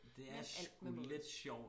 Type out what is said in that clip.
Men alt med måde